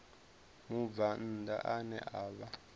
mubvann ḓa ane a vha